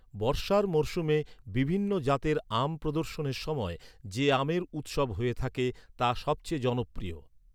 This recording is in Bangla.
বর্ষার মরশুমে বিভিন্ন জাতের আম প্রদর্শনের সময় যে আমের উৎসব হয়ে থাকে, তা সবচেয়ে জনপ্রিয়।